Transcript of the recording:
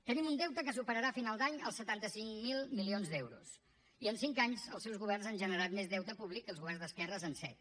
tenim un deute que superarà a final d’any els setanta cinc mil milions d’euros i en cinc anys els seus governs han generat més deute públic que els governs d’esquerres en set